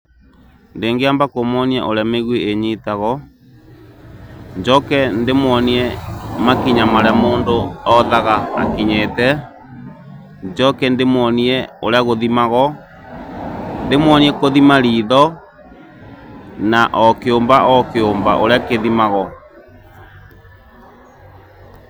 Nĩngĩamba kũmwonia ũrĩa mĩgwĩ ĩnyitagwo, njoke ndĩmwonie makinya marĩa mũndũ othaga akinyĩte, njoke ndĩmwonie ũrĩa kũthimagwo, ndĩmwonie kũthima ritho na o kĩũmba o kĩũmba ũrĩa kĩthimagwo.